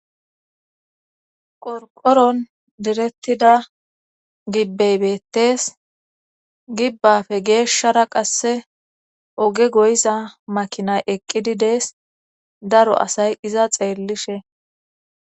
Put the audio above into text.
qorqoron direttida gibbeybettes gibbafe geeshshara qasse oge goyiza makinay eqqidi dees daro asay iza xeellishe